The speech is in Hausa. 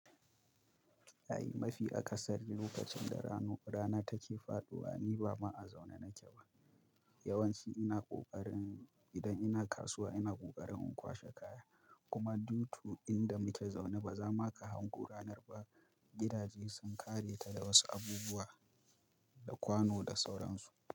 Yayi mafi akasari lokacin da ranu rana take faɗuwa, ni ba ma a zaune nake ba. Yawanci ina ƙoƙarin idan ina kasuwa ina ƙoƙarin in kwashe kaya. Kuma due to inda muke zaune ba za ma ka hango ranar ba. Gidaje sun ƙare ta da wasu abubuwa, da kwano da sauransu.